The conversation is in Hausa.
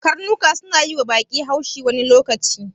Karnuka suna yiwa baƙi haushi wani lokaci.